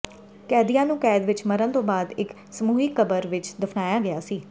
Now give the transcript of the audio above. ਕੈਦੀਆਂ ਨੂੰ ਕੈਦ ਵਿਚ ਮਰਨ ਤੋਂ ਬਾਅਦ ਇਕ ਸਮੂਹਿਕ ਕਬਰ ਵਿਚ ਦਫਨਾਇਆ ਗਿਆ ਸੀ